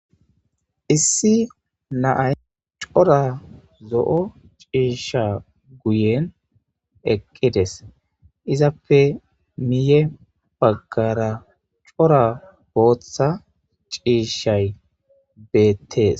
issi naay cora zo7o ciisha guyen eqqides izappe miye baggara cora booththa ciishay beettees